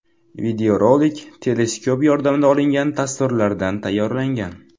Videorolik teleskop yordamida olingan tasvirlardan tayyorlangan.